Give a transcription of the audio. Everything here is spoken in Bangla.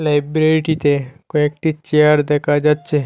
লাইব্রেরিটিতে কয়েকটি চেয়ার দেখা যাচ্ছে।